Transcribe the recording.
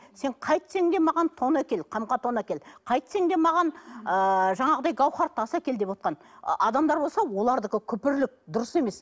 сен қайтсең де маған тон әкел қамқа тон әкел қайтсең де маған ыыы жаңағыдай гаухар тас әкел девотқан адамдар болса олардікі күпірлік дұрыс емес